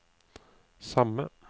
samme